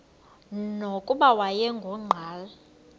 nokuba wayengu nqal